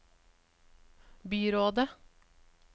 byrådet